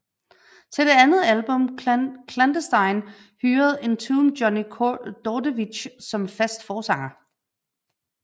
Til det andet album Clandestine hyrede Entombed Johnny Dordevic som fast forsanger